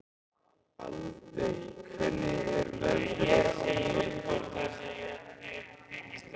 Aldey, hvernig er veðrið á morgun?